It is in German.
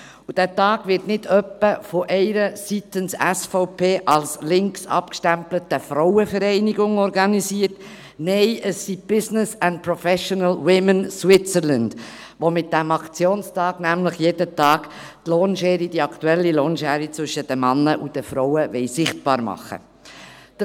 Dieser Tag wird nicht etwa von einer von der SVP als links abgestempelten Seite organisiert, nein, es sind die Business and Professional Women (BPW) Switzerland, die mit diesem Aktionstag die aktuelle Lohnschere zwischen den Frauen und den Männern täglich sichtbar machen wollen.